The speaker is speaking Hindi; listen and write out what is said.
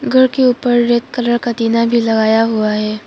घर के ऊपर रेड कलर का टीना भी लगाया हुआ है।